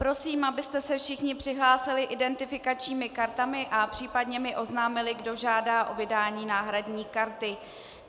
Prosím, abyste se všichni přihlásili identifikačními kartami a případně mi oznámili, kdo žádá o vydání náhradní karty.